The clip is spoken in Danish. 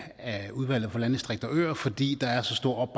af udvalget for landdistrikter og øer fordi der er så stor